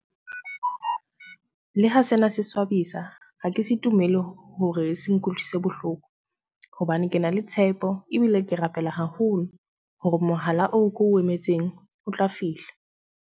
Le ha sena se swabisa, ha ke se tumelo hore se nkutlwise bohloko. Hobane ke na le tshepo ebile ke rapela haholo hore mohala oo ko emetseng o tla fihla.